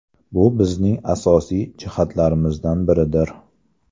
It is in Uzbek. Bu bizning asosiy jihatlarimizdan biridir.